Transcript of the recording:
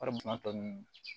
Wari dun tɔ ninnu